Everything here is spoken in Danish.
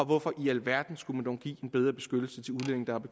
hvorfor i alverden skulle man dog give en bedre beskyttelse